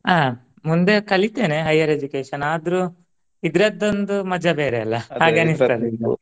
ಹ ಮುಂದೆ ಕಲಿತೇನೆ higher education ಆದ್ರೂ ಇದ್ರದ್ದೊಂದು ಮಜಾ ಬೇರೆ ಅಲ್ಲ .